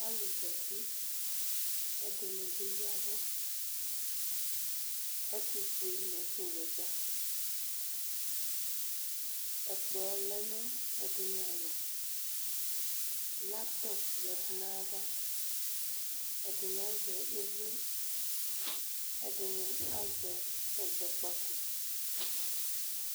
Alʋ zati kʋ ɛdini bi ya ɛvʋ ɛtufue nʋ ɔwɛ dza ɛkplɔlɛ nʋ ɛdini alɔ laptɔp yadʋ nʋ ayʋ ava ɛdini azɛ ivli edini azɛ ɛzɔkpako